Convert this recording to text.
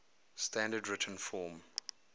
standard written form